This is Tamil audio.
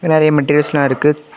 இங்க நிறைய மெட்டீரியல்ஸ் எல்லா இருக்கு.